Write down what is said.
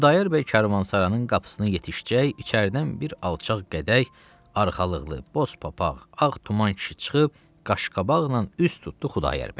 Xudayar bəy karvansaranın qapısına yetişəcək, içəridən bir alçaq qədəh, arxalıqlı boz papaq, ağ tuman kişi çıxıb qaşqabaqla üz tutdu Xudayar bəyə.